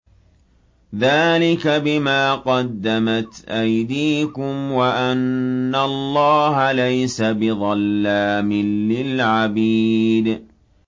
ذَٰلِكَ بِمَا قَدَّمَتْ أَيْدِيكُمْ وَأَنَّ اللَّهَ لَيْسَ بِظَلَّامٍ لِّلْعَبِيدِ